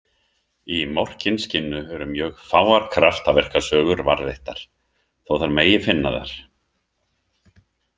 Í Morkinskinnu eru mjög fáar kraftaverkasögur varðveittar, þó þær megi finna þar .